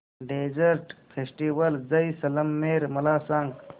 desert festival Jaisalmer मला सांग